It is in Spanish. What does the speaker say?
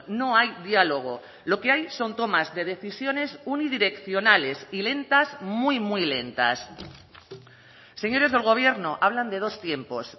no hay diálogo lo que hay son tomas de decisiones unidireccionales y lentas muy muy lentas señores del gobierno hablan de dos tiempos